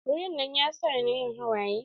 Wurin nan ya sa ni yin hawaye.